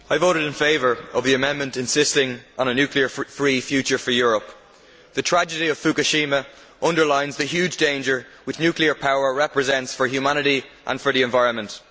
Madam President, I voted in favour of the amendment insisting on a nuclear free future for Europe. The tragedy of Fukushima underlines the huge danger that nuclear power represents for humanity and for the environment.